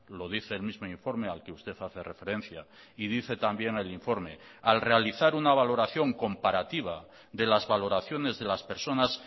lo dice el mismo informe al que usted hace referencia y dice también el informe al realizar una valoración comparativa de las valoraciones de las personas